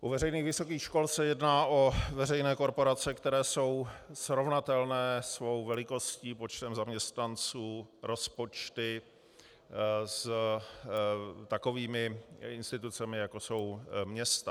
U veřejných vysokých škol se jedná o veřejné korporace, které jsou srovnatelné svou velikostí, počtem zaměstnanců, rozpočty s takovými institucemi, jako jsou města.